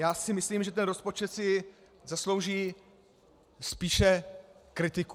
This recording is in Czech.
Já si myslím, že ten rozpočet si zaslouží spíše kritiku.